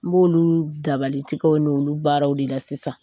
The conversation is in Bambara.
N b'olu dabalitigiƐw n'olu baaraw de la sisan,